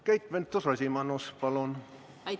Keit Pentus-Rosimannus, palun!